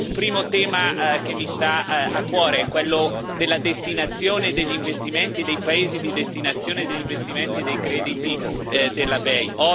Un primo tema che mi sta a cuore è quello della destinazione degli investimenti e dei paesi di destinazione degli investimenti e dei crediti della BEI.